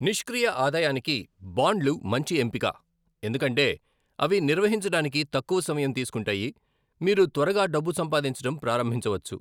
నిష్క్రియ ఆదాయానికి బాండ్లు మంచి ఎంపిక ఎందుకంటే అవి నిర్వహించడానికి తక్కువ సమయం తీసుకుంటాయి, మీరు త్వరగా డబ్బు సంపాదించడం ప్రారంభించవచ్చు.